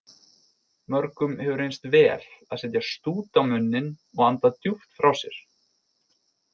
Mörgum hefur reynst vel að setja stút á munninn og anda djúpt frá sér.